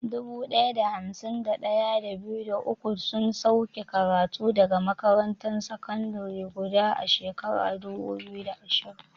Dubu ɗaya da hamsin da ɗaya, da biyu, da uku sun sauke karatu daga makarantar sakandare guda a shekarar 2020.